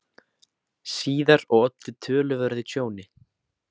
síðar og olli töluverðu tjóni.